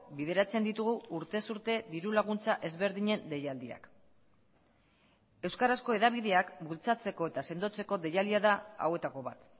bideratzen ditugu urtez urte diru laguntza ezberdinen deialdiak euskarazko hedabideak bultzatzeko eta sendotzeko deialdia da hauetako bat